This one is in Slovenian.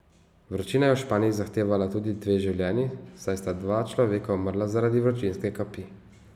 Vročina je v Španiji zahtevala tudi dve življenji, saj sta dva človeka umrla zaradi vročinske kapi.